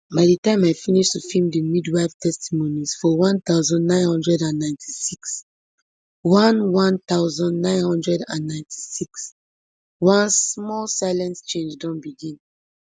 by di time i finish to feem di midwives testimonies for one thousand, nine hundred and ninety-six one one thousand, nine hundred and ninety-six one small silent change don begin